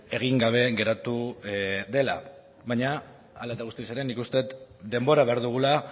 egin gabe geratu dela baina hala eta guzti ere nik uste dut denbora behar dugula